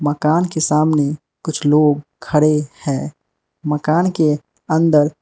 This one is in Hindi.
मकान के सामने कुछ लोग खडे हैं मकान के अंदर --